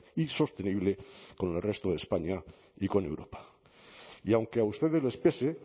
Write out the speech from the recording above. y sostenible con el resto de españa y con europa y aunque a ustedes les pese